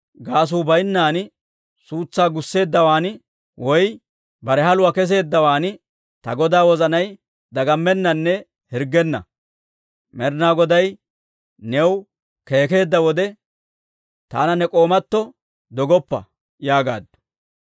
gaasuu baynnan suutsaa gusseeddawaan woy bare haluwaa kesseeddawaan ta godaa wozanay dagammennanne hirggenna. Med'inaa Goday new keekeedda wode, taana ne k'oomatoo dogoppa» yaagaaddu.